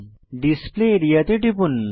display area তে টিপুন